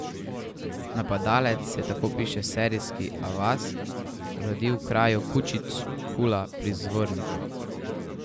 Napadalec se je, tako piše sarajevski Avaz, rodil v kraju Kučić Kula pri Zvorniku.